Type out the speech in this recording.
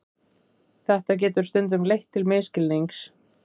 Þetta getur stundum leitt til misskilnings.